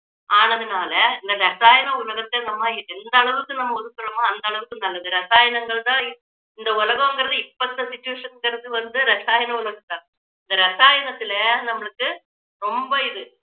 ஆனதுனால இந்த ரசாயன உலகத்தை நம்ம எந்த அளவுக்கு நம்ம ஒதுக்குறோமோ அந்த அளவுக்கு நல்லது ரசாயனங்கள் தான் இந்த உலகங்குறது இப்போ இந்த situation ங்கறது வந்து ரசாயன உலகம் தான் இந்த ரசாயனத்துல நம்மளுக்கு ரொம்ப இது